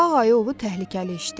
Ağ ayı ovu təhlükəli işdi.